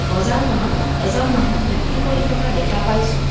বজাৰখনত এজন মানুহ বিক্ৰী কৰি থকা দেখা পাইছোঁ।